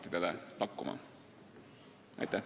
Aitäh!